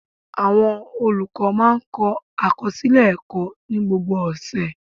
Awọn olukọ máa ń kọ akọsilẹ ẹkọ ni gbogbo ọsẹ